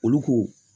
Olu ko